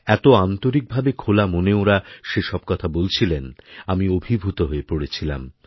এত আন্তরিক ভাবে খোলা মনে ওঁরা সেসব কথা বলছিলেন আমিঅভিভূত হয়ে পড়েছিলাম